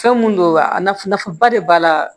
Fɛn mun don wa a nafa ba de b'a la